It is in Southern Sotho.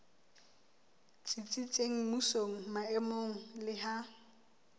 tsitsitseng mmusong maemong le ha